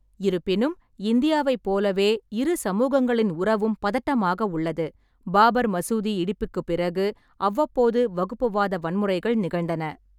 இருப்பினும், இந்தியாவைப் போலவே, இரு சமூகங்களின் உறவும் பதட்டமாக உள்ளது, பாபர் மசூதி இடிப்புக்குப் பிறகு அவ்வப்போது வகுப்புவாத வன்முறைகள் நிகழ்ந்தன.